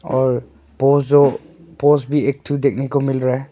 और वो जो पोज भी एक ठो दिखने को मिल रहा है।